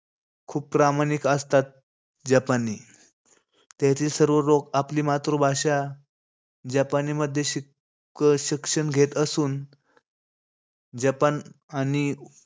खूप प्रामाणिक असतात, जपानी. तेथील सर्व लोक आपली मातृभाषा जपानीमध्ये शिक~ शिक्षण घेत असून जपान आणि,